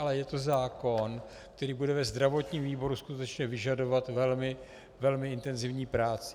Ale je to zákon, který bude ve zdravotním výboru skutečně vyžadovat velmi intenzivní práci.